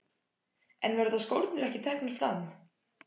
En verða skórnir ekki teknir fram?